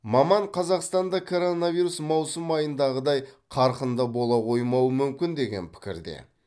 маман қазақстанда коронавирус маусым айындағыдай қарқынды бола қоймауы мүмкін деген пікірде